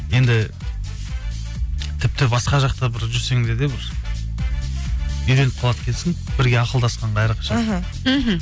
енді тіпті басқа жақта бір жүрсең де бір үйреніп қалады екенсің бірге ақылдасқанға әрқашан іхі мхм